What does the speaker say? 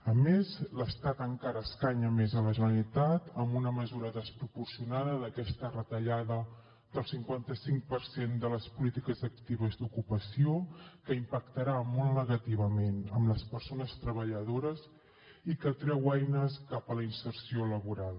a més l’estat encara escanya més la generalitat amb una mesura desproporcionada d’aquesta retallada del cinquanta cinc per cent de les polítiques actives d’ocupació que impactarà molt negativament en les persones treballadores i que treu eines cap a la inserció laboral